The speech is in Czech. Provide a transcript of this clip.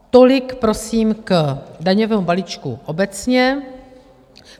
Tolik prosím k daňovému balíčku obecně.